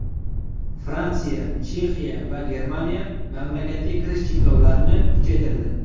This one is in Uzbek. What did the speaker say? Fransiya, Chexiya va Germaniya mamlakatga kirish cheklovlarini kuchaytirdi.